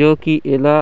जो एला--